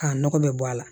K'a nɔgɔ bɛ bɔ a la